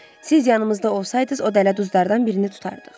Siz yanımızda olsaydınız, o dələduzlardan birini tutardıq.